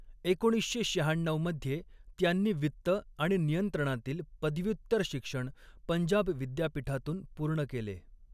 एकोणीसशे शहाण्णव मध्ये त्यांनी वित्त आणि नियंत्रणातील पदव्युत्तर शिक्षण पंजाब विद्यापीठातून पूर्ण केले.